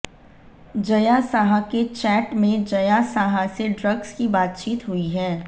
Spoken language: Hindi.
जया साहा के चैट में जया साहा से ड्रग्स की बातचीत हुई है